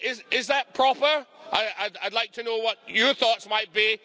Is that proper? I'd like to know what your thoughts might be.